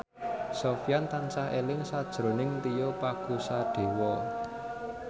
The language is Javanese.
Sofyan tansah eling sakjroning Tio Pakusadewo